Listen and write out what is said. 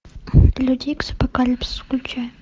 люди икс апокалипсис включай